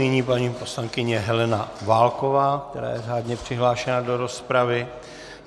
Nyní paní poslankyně Helena Válková, která je řádně přihlášená do rozpravy.